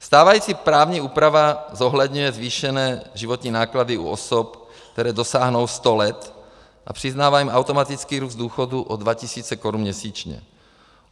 Stávající právní úprava zohledňuje zvýšené životní náklady u osob, které dosáhnou 100 let, a přiznává jim automatický růst důchodů o 2 000 korun měsíčně.